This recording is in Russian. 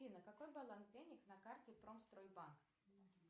афина какой баланс денег на карте промстройбанк